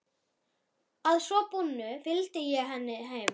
Að svo búnu fylgdi ég henni heim.